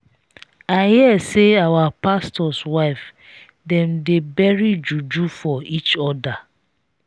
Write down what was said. i hear say our pastors wife dem they bury juju for each other.